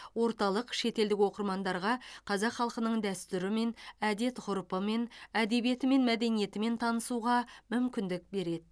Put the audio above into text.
орталық шетелдік оқырмандарға қазақ халқының дәстүрімен әдет ғұрпымен әдебиеті мен мәдениетімен танысуға мүмкіндік береді